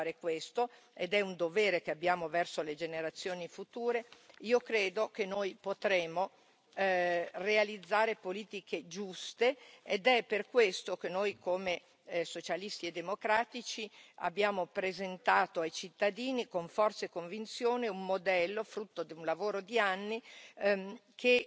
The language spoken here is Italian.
Se riusciremo a fare questo, ed è un dovere che abbiamo verso le generazioni future, io credo che potremo realizzare politiche giuste ed è per questo che noi, come Socialisti e democratici, abbiamo presentato ai cittadini con forza e convinzione un modello, frutto di un lavoro di anni,